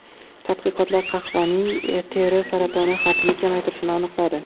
Tadqiqotlar qahvaning teri saratoni xavfini kamaytirishini aniqladi.